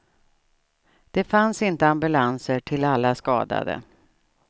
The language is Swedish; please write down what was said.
Det fanns inte ambulanser till alla skadade.